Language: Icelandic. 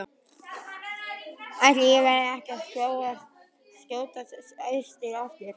Ætli ég verði ekki að skjótast austur aftur.